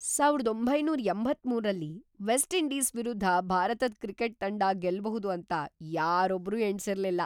ಸಾವಿರದ ಒಂಭೈನೂರ ಎಂಭತ್ತಮೂರು ರಲ್ಲಿ ವೆಸ್ಟ್ ಇಂಡೀಸ್ ವಿರುದ್ಧ ಭಾರತದ್ ಕ್ರಿಕೆಟ್ ತಂಡ ಗೆಲ್ಬಹುದು ಅಂತ ಯಾರೊಬ್ರೂ ಎಣ್ಸಿರ್ಲಿಲ್ಲ!